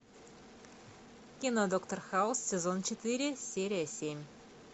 кино доктор хаус сезон четыре серия семь